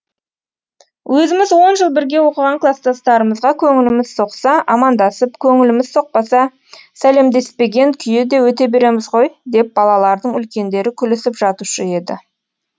өзіміз он жыл бірге оқыған кластастарымызға көңіліміз соқса амандасып көңіліміз соқпаса сәлемдеспеген күйі де өте береміз ғой деп балалардың үлкендері күлісіп жатушы еді